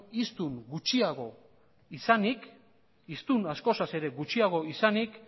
hiztun gutxiago izanik hiztun askoz ere gutxiago izanik